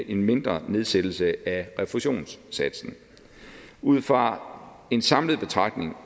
en mindre nedsættelse af refusionssatsen ud fra en samlet betragtning